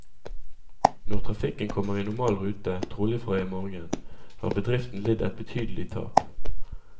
Når trafikken kommer i normal rute, trolig fra i morgen, har bedriften lidd et betydelig tap.